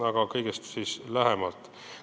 Aga nüüd kõigest lähemalt.